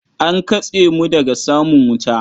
An katse mu daga samun wuta.